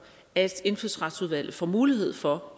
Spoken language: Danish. at indfødsretsudvalget også får mulighed for